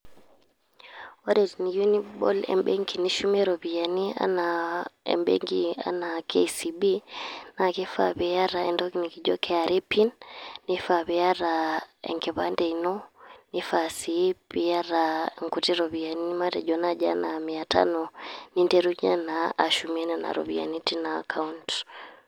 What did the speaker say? Ore teniyieu nibol ebenki nishumie iropiyiani, enaa ebenki enaa kcb,na kifaa piata entoki nikijo kra pin. Nifaa piata enkipande ino, nifaa si piata inkuti ropiyaiani. Matejo nai enaa mia tano. Ninterunye naa ashume nena ropiyaiani teina account.